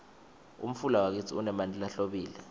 umfula wakitsi unemanti lahlobile